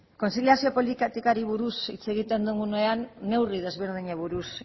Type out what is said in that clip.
kontziliazio politikari buruz hitz egiten dugunean neurri desberdinei buruz